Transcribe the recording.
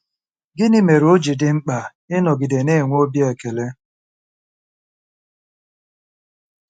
Gịnị mere o ji dị mkpa ịnọgide na-enwe obi ekele?